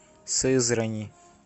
сызрани